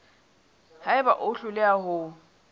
ha eba o hloleha ho